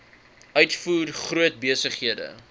uitvoer groot besighede